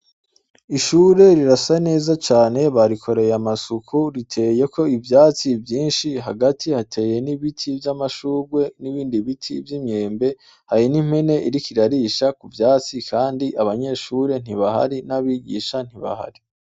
Ishure rirasa neza cane, barikoreye amasuku. Riteyeko ivyatsi vyinshi hagati hateye n'ibiti vy'amashurwe n'ibindi biti vy'imyembe, hari n'impene iriko irarisha mu vyatsi kandi abanyeshure ntibahari n'abigisha ntibahari.